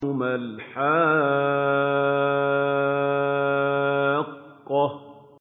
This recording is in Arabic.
مَا الْحَاقَّةُ